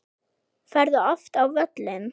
Ferðu oft á völlinn?